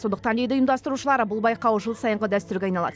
сондықтан дейді ұйымдастырушылар бұл байқау жыл сайынғы дәстүрге айналады